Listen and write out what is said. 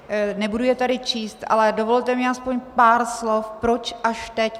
Nebudu je tady číst, ale dovolte mi aspoň pár slov, proč až teď.